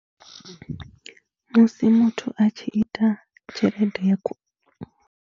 Musi muthu a tshi ita tshelede ya kho.